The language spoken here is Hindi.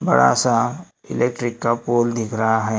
बड़ा सा इलेक्ट्रिक का पोल दिख रहा है।